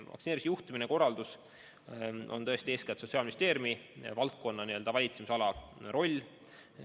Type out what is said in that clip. Vaktsineerimise juhtimine ja korraldus on eeskätt Sotsiaalministeeriumi valitsemisalas.